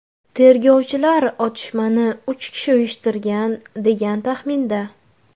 Tergovchilar otishmani uch kishi uyushtirgan, degan taxminda.